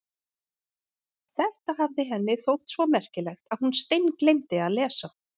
Þetta hafði henni þótt svo merkilegt að hún steingleymdi að lesa.